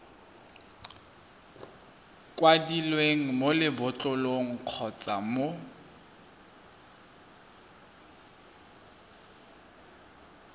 kwadilweng mo lebotlolong kgotsa mo